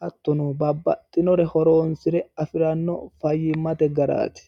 hattono babbaxxinore horonsire afirano faayyimate garaati